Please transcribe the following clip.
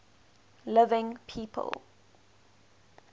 living people